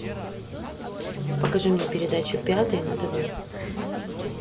покажи мне передачу пятый на тв